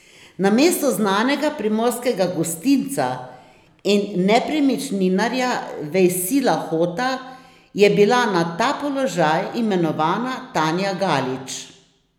Namesto znanega primorskega gostinca in nepremičninarja Vejsila Hota je bila na ta položaj imenovana Tanja Galić.